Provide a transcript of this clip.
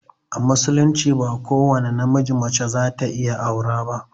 A musulunci ba ko wani na miji mace za ta iya aura ba